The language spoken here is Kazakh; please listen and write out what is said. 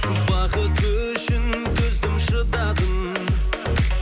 бақыт үшін төздім шыдадым